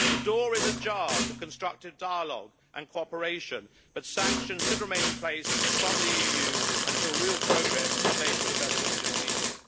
The door is ajar to constructive dialogue and cooperation but sanctions should remain in place from the EU until real progress is made for the Belarusian people.